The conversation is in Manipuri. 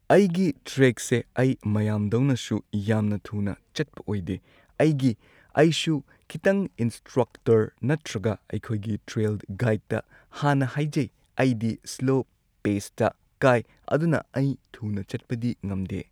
ꯑꯩꯒꯤ ꯇ꯭ꯔꯦꯛꯁꯦ ꯑꯩ ꯃꯌꯥꯝꯗꯧꯅꯁꯨ ꯌꯥꯝꯅ ꯊꯨꯅ ꯆꯠꯄ ꯑꯣꯏꯗꯦ ꯑꯩꯒꯤ ꯑꯩꯁꯨ ꯈꯤꯇꯪ ꯏꯟꯁꯇ꯭ꯔꯛꯇꯔ ꯅꯠꯇ꯭ꯔꯒ ꯑꯩꯈꯣꯏꯒꯤ ꯇ꯭ꯔꯦꯜ ꯒꯥꯏꯗꯇ ꯍꯥꯟꯅ ꯍꯥꯏꯖꯩ ꯑꯩꯗꯤ ꯁ꯭ꯂꯣ ꯄꯦꯁꯇ ꯀꯥꯏ ꯑꯗꯨꯅ ꯑꯩ ꯊꯨꯅ ꯆꯠꯄꯗꯤ ꯉꯝꯗꯦ꯫